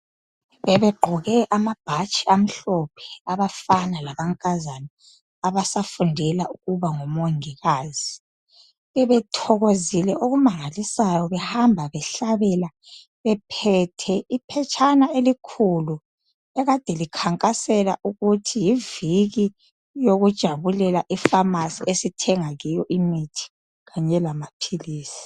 Bebegqoke amabhatshi amhlophe abafana lamankazana abasafundela ukuba ngomongikazi. Bebethokozile okumangalisayo behamba behlabela bephethe iphetshana elikhulu akade likhankasela ukuthi yiviki yokujabulela ifamasi esithenga kiyo imithi lamaphilisi